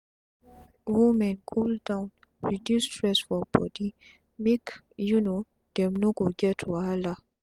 women cool down reduce stress for body make um dem no go get wahala